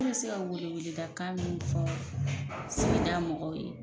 Ne bɛ se ka weleweledakan min fɔ sigida mɔgɔw ye.